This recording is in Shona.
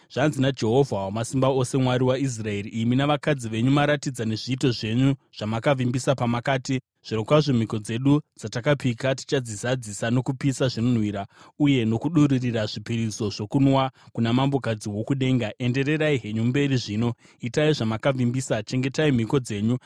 Zvanzi naJehovha Wamasimba Ose, Mwari waIsraeri: Imi navakadzi venyu maratidza nezviito zvenyu, zvamakavimbisa pamakati, ‘Zvirokwazvo mhiko dzedu dzatakapika tichadzizadzisa nokupisa zvinonhuhwira uye nokudururira zvipiriso zvokunwa kuna Mambokadzi woKudenga.’ “Endererai henyu mberi zvino, itai zvamakavimbisa! Chengetai mhiko dzenyu!